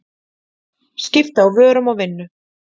Skipti á vörum og vinnu.